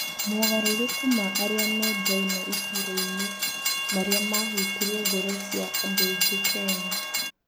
Mogarũrũku ma arĩa mendaine itũrainĩ marĩa ma hutirie ngoro cia andũaingĩ Kenya.